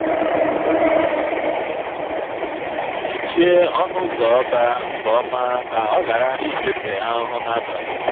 mechie ọnụ ụzọ ọba nke ọma ka ọ ghara ịfefe ahụhụ n'abalị.